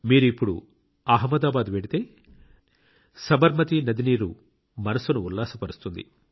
మీరు ఇప్పుడు అహ్మదాబాద్ వెళ్తే సబర్మతి నది నీరు మనస్సును ఉల్లాసపరుస్తుంది